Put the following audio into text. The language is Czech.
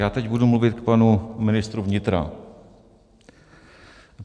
Já teď budu mluvit k panu ministru vnitra.